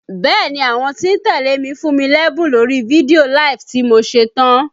Bẹ́ẹ̀ni, àwọn tí ń tẹ́lẹ̀ mi fún mí lẹ́bùn lórí fídíò LIVE tí mo ṣe tán